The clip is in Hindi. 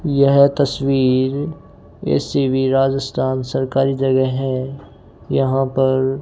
यह तस्वीर ऐसी भीं राजस्थान सरकारी जगह हैं यहाँ पर --